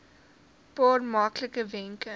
paar maklike wenke